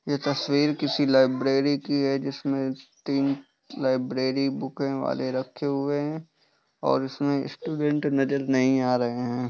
यह तस्वीर किसी लाइब्रेरी की है जिसमे तीन लाइब्रेरी बूके वाले रखे हुए है और इसमें स्टूडेंट नजर नहीं आ रहे है।